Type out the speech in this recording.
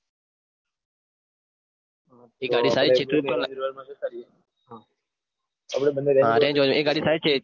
એ ગાડી થાય છે